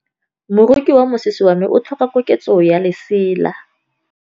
Moroki wa mosese wa me o tlhoka koketsô ya lesela.